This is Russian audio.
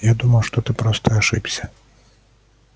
я думал что ты просто ошибся